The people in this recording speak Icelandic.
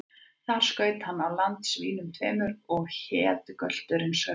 Þar skaut hann á land svínum tveimur, og hét gölturinn Sölvi.